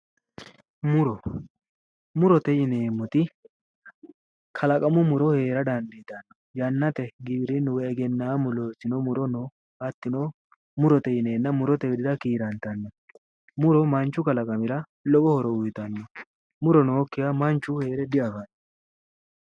Muro, murote yineemmoti kalaqamu muro heera dandiitanno, yannate giwirinnu woyi egennaammu loossino muro no hattino murote yineennna murote widira kiirantanno. muro manchu kalqamiro lowo horo uuyiitanno. muro nookkiha manchu heere diafanno.